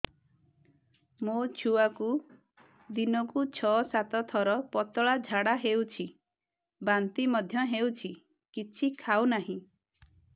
ମୋ ଛୁଆକୁ ଦିନକୁ ଛ ସାତ ଥର ପତଳା ଝାଡ଼ା ହେଉଛି ବାନ୍ତି ମଧ୍ୟ ହେଉଛି କିଛି ଖାଉ ନାହିଁ